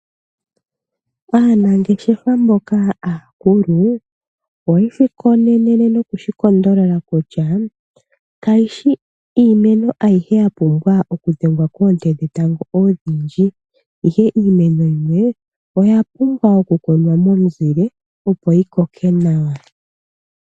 Aanangeshefa mboka aakulu oyeshi konenene nokushi kondolola kutya, kayishi iimeno ayihe ya pumbwa okudhengwa koonte dhetango odhindji, ihe iimeno yimwe oya pumbwa oku kunwa momuzile, opo yi koke nawa.